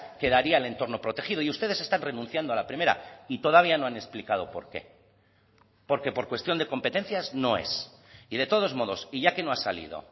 quedaría el entorno protegido y ustedes están renunciando a la primera y todavía no han explicado por qué porque por cuestión de competencias no es y de todos modos y ya que no ha salido